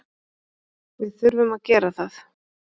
Við þurfum að gera það.